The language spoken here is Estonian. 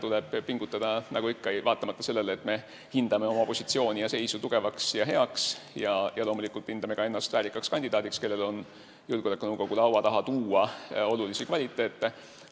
Tuleb ikka pingutada, vaatamata sellele, et me hindame oma positsiooni ja seisu tugevaks ja heaks ning loomulikult peame ennast ka väärikaks kandidaadiks, kellel on julgeolekunõukogu laua taha tuua olulisi kvaliteete.